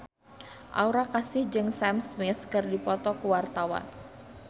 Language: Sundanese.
Aura Kasih jeung Sam Smith keur dipoto ku wartawan